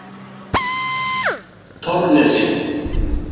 Torfnesi